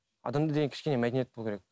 адамда деген кішкене мәдениет болу керек